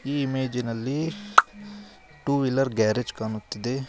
ಈ ಇಮೇಜಿನಲ್ಲಿ two wheeler garage ಕಾಣುತ್ತಿದೆ.